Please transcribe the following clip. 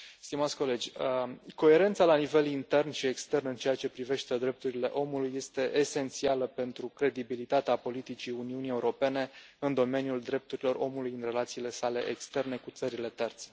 Stimați colegi, coerența la nivel intern și extern în ceea ce privește drepturile omului este esențială pentru credibilitatea politicii Uniunii Europene în domeniul drepturilor omului în relațiile sale externe cu țările terțe.